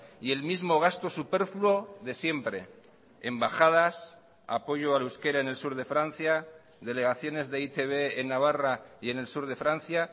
y el mismo gasto superfluo de siempre embajadas apoyo al euskera en el sur de francia delegaciones de e i te be en navarra y en el sur de francia